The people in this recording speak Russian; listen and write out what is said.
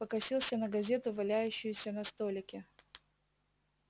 покосился на газету валяющуюся на столике